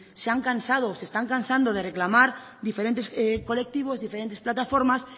se han cansado o se están cansado de reclamar diferentes colectivos diferentes plataformas